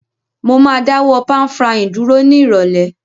Mo ma dáwó pan-frying dúró ni ìrọ̀lẹ́